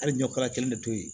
Hali ɲɔ kɛra kelen de to ye